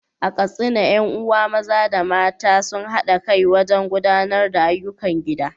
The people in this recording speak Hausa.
A Katsina, ƴan uwa maza da mata sun haɗa kai wajen gudanar da ayyukan gida.